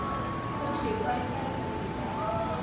Fúsi, hvað er í dagatalinu í dag?